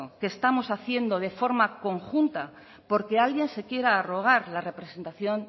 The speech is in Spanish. que estamos haciendo de forma conjunta porque alguien se quiera arrogar la representación